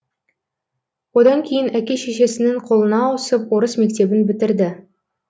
одан кейін әке шешесінің қолына ауысып орыс мектебін бітірді